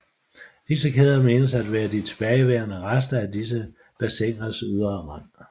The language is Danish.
Disse kæder menes at være de tilbageværende rester af disse bassiners ydre rand